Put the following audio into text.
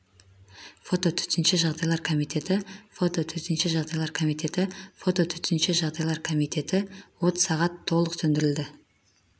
фото төтенше жағдайлар комитеті фото төтенше жағдайлар комитеті фото төтенше жағдайлар комитеті от сағат толық сөндірілген